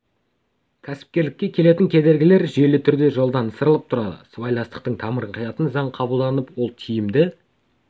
кәсіпкерлікке келтіретін кедергілер жүйелі түрде жолдан ысырылып тұрады сыбайластықтың тамырын қиятын заң қабылданып ол тиімді